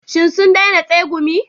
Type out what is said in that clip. Shin sun daina tsegumi?